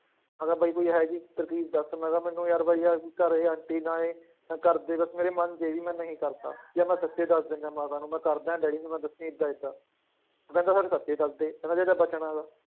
ਮੈਂ ਕਿਹਾ ਬਾਈ ਕੋਈ ਇਹੋ ਜਿਹੀ ਤਰਕੀਬ ਦੱਸ ਮੈਂ ਕਿਹਾ ਮੈਨੂੰ ਯਾਰ ਬਾਈ ਯਾਰ ਘਰੇ ਆਂਟੀ ਨਾ ਆਏ, ਨਾ ਘਰਦੇ ਬਸ ਮੇਰੇ ਮੰਨ ਜਾਏ ਵੀ ਮੈਂ ਨਹੀਂ ਕਰਦਾ ਜਾਂ ਮੈਂ ਸੱਚੀ ਦੱਸ ਦਿਨਾ ਮਾਤਾ ਨੂੰ ਮੈਂ ਕਰਦਾ ਹੈ ਡੈਡੀ ਨੂੰ ਨਾ ਦੱਸੀ ਏਦਾਂ ਏਦਾਂ, ਕਹਿੰਦੇ ਫਿਰ ਸੱਚੇ ਦੱਸਦੇ ਕਹਿੰਦੇ ਜੇ ਤਾਂ ਬਚਣਾ ਤਾਂ